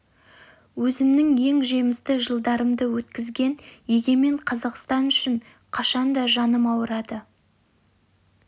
өзімнің ең жемісті жылдарымды өткізген егемен қазақстан үшін қашан да жаным ауырады